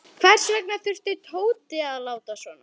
Hvers vegna þurfti Tóti að láta svona.